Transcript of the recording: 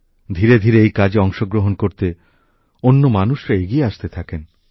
ধীরেধীরে এই কাজে অংশগ্রহন করতে অন্য মানুষরা এগিয়ে আসতে থাকেন